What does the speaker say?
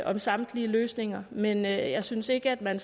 om samtlige løsninger men jeg jeg synes ikke at man